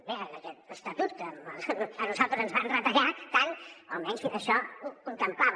bé aquest estatut que a nosaltres ens van retallar tant almenys això ho contemplava